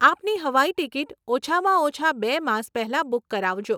આપની હવાઈ ટીકીટ ઓછામાં ઓછાં બે માસ પહેલાં બુક કરાવજો.